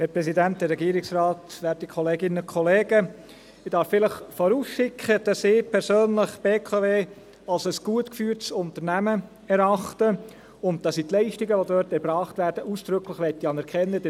Ich darf vielleicht vorausschicken, dass ich persönlich die BKW als ein gut geführtes Unternehmen erachte und dass ich die Leistungen, die dort erbracht werden, ausdrücklich anerkennen möchte.